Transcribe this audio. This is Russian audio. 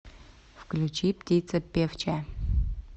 включи птица певчая